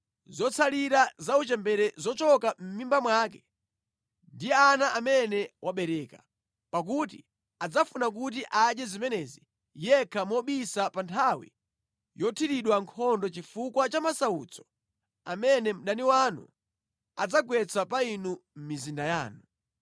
zotsalira za uchembere zochoka mʼmimba mwake ndi ana amene wabereka. Pakuti adzafuna kuti adye zimenezi yekha mobisa pa nthawi yothiridwa nkhondo chifukwa cha masautso amene mdani wanu adzagwetsa pa inu mʼmizinda yanu.